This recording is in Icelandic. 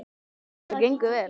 Þetta gengur vel.